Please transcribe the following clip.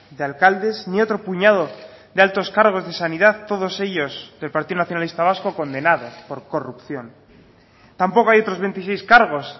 de alcaldes ni otro puñado de altos cargos de sanidad todos ellos del partido nacionalista vasco condenados por corrupción tampoco hay otros veintiséis cargos